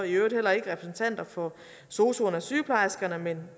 i øvrigt heller ikke repræsentanter for sosuerne og sygeplejerskerne men